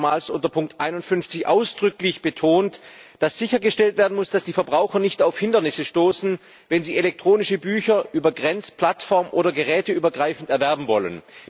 Wir haben dort schon einmal unter Ziffer 51 ausdrücklich betont, dass sichergestellt werden muss, dass die Verbraucher nicht auf Hindernisse stoßen, wenn sie elektronische Bücher grenz plattform oder geräteübergreifend erwerben wollen.